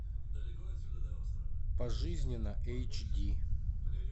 пожизненно эйч ди